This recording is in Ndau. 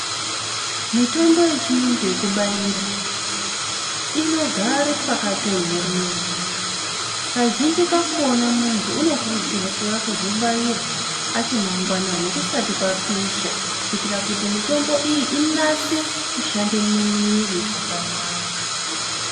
Mitombo yechiyungu yekubaira inogare pakatonhorera. Kazhinji kakona muntu unokurudzirwa kuuya kuzobairwa achimangwanani kusati kwapisha kuitira kuti mitombo iyi inase kushande mumwiiri zvakanaka.